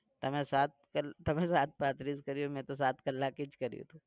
તમે સાત તમે સાત પાંત્રીસ કર્યુ મેં તો સાત કલાક જ કર્યુ.